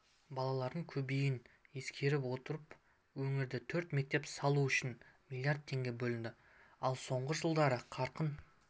балалардың көбеюін ескере отырып өңірде төрт мектеп салу үшін млрд теңге бөлінді алсоңғы жылдары қарқын